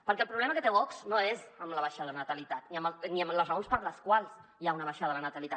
perquè el problema que té vox no és amb la baixada de la natalitat ni amb les raons per les quals hi ha una baixada de la natalitat